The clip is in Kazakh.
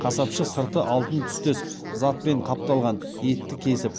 қасапшы сырты алтын түстес затпен қапталған етті кесіп